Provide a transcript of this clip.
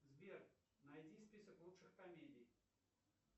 сбер найди список лучших комедий